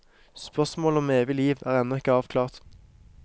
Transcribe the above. Spørsmålet om evig liv er ennå ikke avklart.